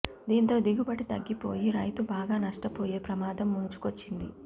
దీంతో దిగుబడి తగ్గి పోయి రైతు బాగా నష్టపోయే ప్రమాదం ముంచు కొచ్చింది